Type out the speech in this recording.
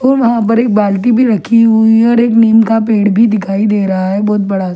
और वहां पर एक बालटी भी रखी हुई है और एक नीम का पेड़ भी दिखाई दे रहा है बहुत बड़ा--